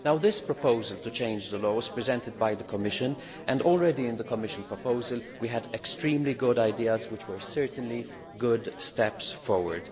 This proposal to change the law was presented by the Commission, and already in the Commission proposal we had extremely good ideas which were certainly good steps forward.